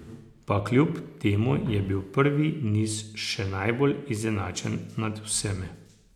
Pa kljub temu je bil prvi niz še najbolj izenačen med vsemi.